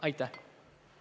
Aitäh!